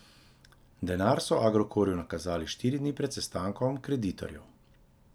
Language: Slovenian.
Denar so Agrokorju nakazali štiri dni pred sestankom kreditorjev.